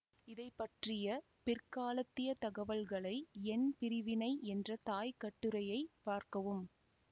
இதைப்பற்றிய பிற்காலத்திய தகவல்களை எண் பிரிவினை என்ற தாய்க்கட்டுரையைப் பார்க்கவும்